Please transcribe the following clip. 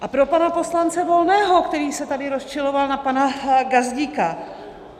A pro pana poslance Volného, který se tady rozčiloval na pana Gazdíka.